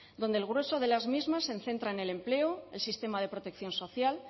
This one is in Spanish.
donde el grueso de las mismas se centra en el empleo el sistema de protección social